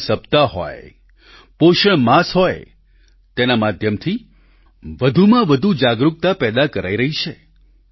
પોષણ સપ્તાહ હોય પોષણ માસ હોય તેના માધ્યમથી વધુમાં વધુ જાગૃકતા પેદા કરાઈ રહી છે